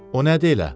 O nədi elə?